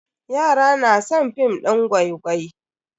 Yara na san film din gwai-gwai.